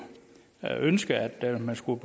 ønsket at man skulle